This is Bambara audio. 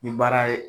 Ni baara ye